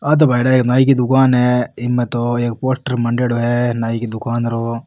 आ तो भायेडा नाइ की दुकान है इ में तो एक पोस्टर मांडेडो है नाइ की दुकान रो।